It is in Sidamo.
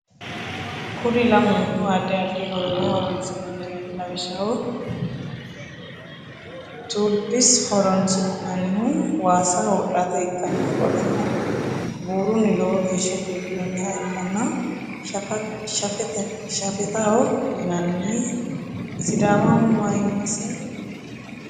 Kuri lamuniku adid adid horora horonsinanireti lawishaho tulips horonisinanihu wasa wodhate ikana qoleno buruni lowo gesha chukinoniha ikana shafetaho yinani sidamaho mayimasi tawisanoho